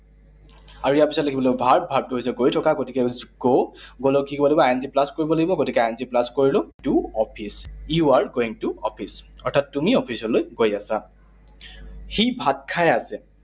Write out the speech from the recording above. আৰু ইয়াৰ পিছত লিখিব লাগিব verb, verb টো হৈছে গৈ থকা। গতিকে হৈছে go, go লগত কি কৰিব লাগিব? I N G plus কৰিব লাগিব। গতিকে I N G plus কৰিলো। এইটো office, you are going to office, অৰ্থাৎ তুমি অফিচলৈ গৈ আছা। সি ভাত খাই আছে।